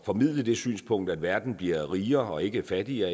formidle det synspunkt at verden bliver rigere og ikke fattigere